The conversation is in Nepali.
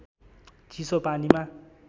चिसो पानीमा